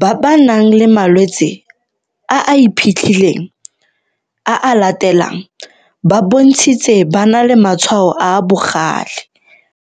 ba ba nang le malwetse a a iphitlhileng a a latelang ba bontshitse ba na le matshwao a a bogale.